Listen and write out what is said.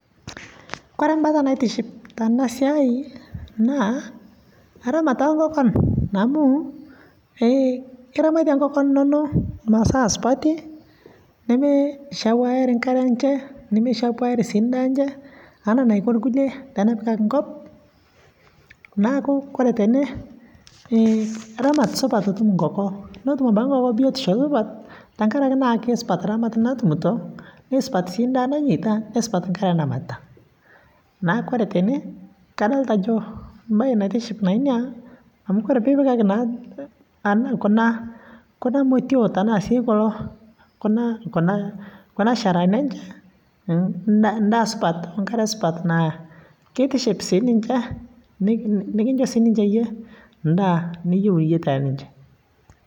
kore mbaa naitiship tanaa siai naa ramat ee nkokon amuu iramatie nkokon inonoo masaa supatii nemeishapuarii nkaree enshee nemeishapuari sii ndaa enshe anaa neiko lkulie tenepikakii nkop naaku kore tenee ramat supat etum nkokoo notum abakii nkoko biotishoo supat tankarakee naa keisupat ramat natumitoo neisupat sii ndaa nanyeita neisupat sii nkaree namatitaa naaku kore tenee kadolitaa ajoo mbai naitishhip naa inia amu kore piipikakii naa kuna motio tanaa kuloo kuna sharahanii enchee ndaa supat oo nkaree supat naa keitiship sii ninshee nikinshoo sii ninjee yie ndaa niyeu yie tee ninshee